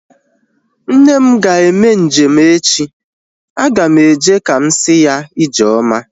Nne m ga-eme njem echi. Aga m eje ka m si ya ijeoma